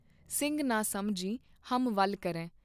ਸਿੰਘ ਨ ਸਮਝੀ ਹਮ ਵਲ ਕਰੇਂ।